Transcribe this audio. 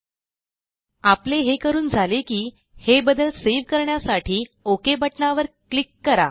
एलटीपॉजेग्ट आपले हे करून झाले की हे बदल सेव्ह करण्यासाठी ओक बटणावर क्लिक करा